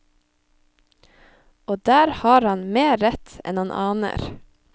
Og der har han mer rett enn han aner.